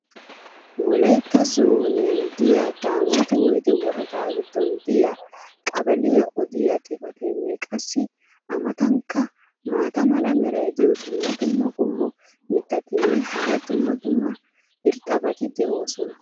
wolaytta zooniyan diya daamooti woyde worada giddon diya qaballaiya odiya xifateenne qassi a matankka maata mala meray diyo dumma dumma qommo mitattinne hara dumma dumma irxxabati de'oosona.